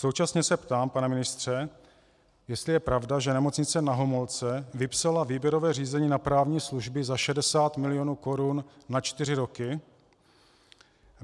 Současně se ptám, pane ministře, jestli je pravda, že Nemocnice Na Homolce vypsala výběrové řízení na právní služby za 60 milionů korun na čtyři roky.